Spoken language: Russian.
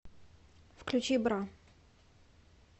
включи бра